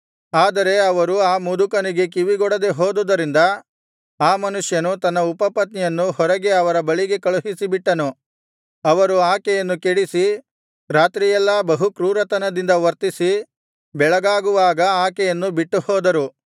ಆದರೆ ಅವರು ಆ ಮುದುಕನಿಗೆ ಕಿವಿಗೊಡದೆ ಹೋದುದರಿಂದ ಆ ಮನುಷ್ಯನು ತನ್ನ ಉಪಪತ್ನಿಯನ್ನು ಹೊರಗೆ ಅವರ ಬಳಿಗೆ ಕಳುಹಿಸಿಬಿಟ್ಟನು ಅವರು ಆಕೆಯನ್ನು ಕೆಡಿಸಿ ರಾತ್ರಿಯೆಲ್ಲಾ ಬಹುಕ್ರೂರತನದಿಂದ ವರ್ತಿಸಿ ಬೆಳಗಾಗುವಾಗ ಆಕೆಯನ್ನು ಬಿಟ್ಟುಹೋದರು